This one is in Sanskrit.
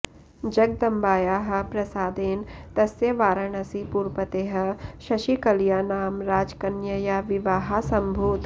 जगदम्बायाः प्रसादेन तस्य वाराणसीपुरपतेः शशिकलया नाम राजकन्यया विवाहः समभूत्